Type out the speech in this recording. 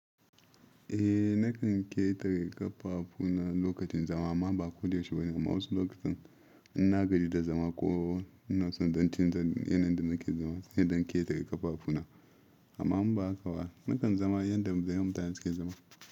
Eh nakan ketare ƙafafu na lokacin zama amma ba ko da yaushe ba amma wasu lokutan in na gaji da zama ko in na so in canza yanayinda nake zama sai in dan ƙetare kafafuna amma in ba haka ba nakan zama yanda mutane suke zama.